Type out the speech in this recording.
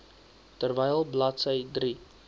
terwyl bladsy drie